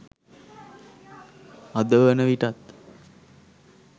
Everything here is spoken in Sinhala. අද වන විටත්